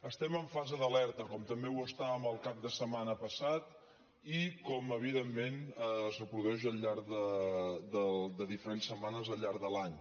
estem en fase d’alerta com també ho estàvem el cap de setmana passat i com evidentment es reprodueix al llarg de diferents setmanes al llarg de l’any